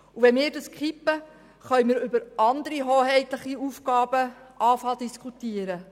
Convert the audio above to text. Wenn wir das Gesetz kippen, können wir anfangen, über andere hoheitliche Aufgaben zu diskutieren.